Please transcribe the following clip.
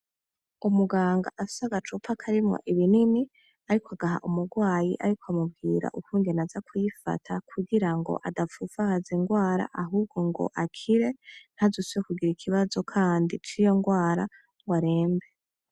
Umuganga afise agacupa karimwo ibinini ariko agaha umurwayi ariko amubwira ukungene aza kwifata kugirango adapfupfahaza ingwara ahubwo ngo akire ,ntazisubire kugira ikibazo kandi ciyo ngwara ngo arembe .